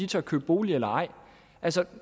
tør købe bolig eller ej altså